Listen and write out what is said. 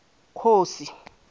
khosi